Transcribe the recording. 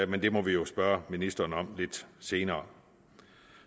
men det må vi jo spørge ministeren om lidt senere